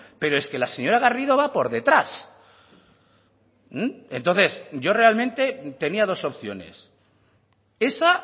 pero es que la señora garrido va por detrás entonces yo realmente tenía dos opciones esa